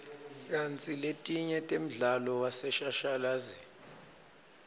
kantsi letinye temdlalo waseshashalazini